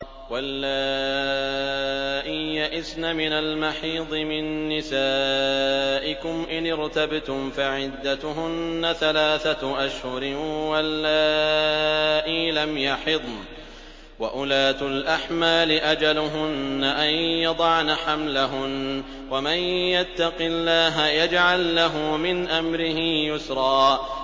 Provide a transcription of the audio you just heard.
وَاللَّائِي يَئِسْنَ مِنَ الْمَحِيضِ مِن نِّسَائِكُمْ إِنِ ارْتَبْتُمْ فَعِدَّتُهُنَّ ثَلَاثَةُ أَشْهُرٍ وَاللَّائِي لَمْ يَحِضْنَ ۚ وَأُولَاتُ الْأَحْمَالِ أَجَلُهُنَّ أَن يَضَعْنَ حَمْلَهُنَّ ۚ وَمَن يَتَّقِ اللَّهَ يَجْعَل لَّهُ مِنْ أَمْرِهِ يُسْرًا